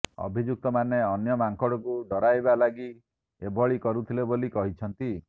ଅଭିଯୁକ୍ତମାନେ ଅନ୍ୟ ମାଙ୍କଡ଼ଙ୍କୁ ଡରାଇବା ଲାଗି ଏଭଳି କରୁଥିଲେ ବୋଲି କହିଛନ୍ତି